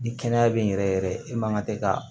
Ni kɛnɛya beyi yɛrɛ yɛrɛ e man ka se ka